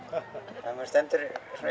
þegar maður stendur